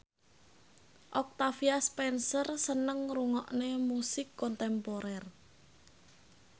Octavia Spencer seneng ngrungokne musik kontemporer